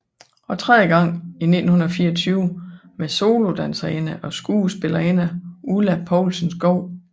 Og tredje gang i 1924 med solodanserinde og skuespillerinde Ulla Poulsen Skou